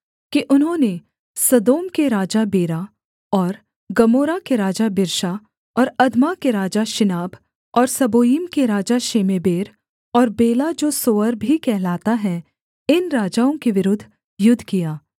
कि उन्होंने सदोम के राजा बेरा और गमोरा के राजा बिर्शा और अदमा के राजा शिनाब और सबोयीम के राजा शेमेबेर और बेला जो सोअर भी कहलाता है इन राजाओं के विरुद्ध युद्ध किया